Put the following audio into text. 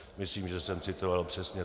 Myslím, že jsem citoval přesně.